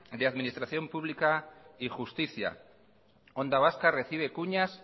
de administración pública y justicia onda vasca recibe cuñas